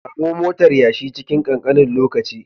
Samu motar yashi cikin kankanin lokaci